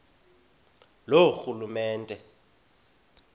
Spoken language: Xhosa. loorhulumente